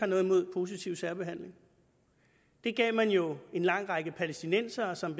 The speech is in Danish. noget imod positiv særbehandling det gav man jo en lang række palæstinensere som